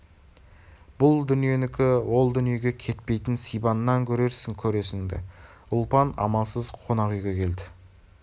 бұл дүниенікі ол дүниеге кетпейтін сибаннан көрерсің көресіңді ұлпан амалсыз қонақ үйге келді